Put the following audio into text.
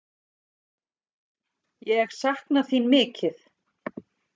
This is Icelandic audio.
Ég sakna þín mikið.